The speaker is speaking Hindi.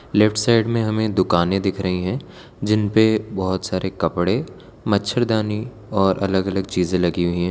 लेफ्ट साइड में हमें दुकाने दिख रही हैं जिन पे बहोत सारे कपड़े मच्छरदानी और अलग अलग चीजे लगी हुई हैं।